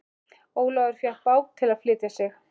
Ólafur fékk bát til að flytja sig.